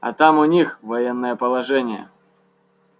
а там у них военное положение